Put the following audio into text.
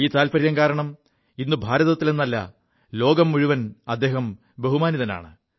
ഈ താത്പര്യം കാരണം ഇ് ഭാരതത്തിലെല്ല ലോകം മുഴുവൻ ബഹുമാനിതനാണ്